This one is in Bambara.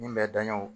Min bɛ danyan